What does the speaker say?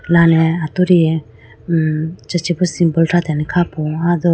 mrale atudi hmm acha chibu symbol thratene kha po aya do.